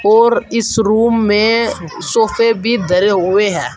और इस रूम में सोफे भी धरे हुए हैं।